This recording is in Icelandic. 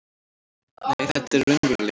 Nei, þetta er raunveruleiki.